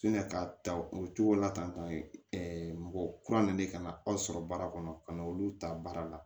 ka ta o cogo la tan mɔgɔ kura nana ka na aw sɔrɔ baara kɔnɔ ka na olu ta baara la